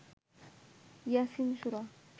Yasin Surah